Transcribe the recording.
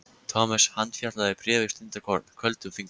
Thomas handfjatlaði bréfið stundarkorn, köldum fingrum.